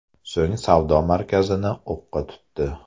So‘ng savdo markazini o‘qqa tutdi.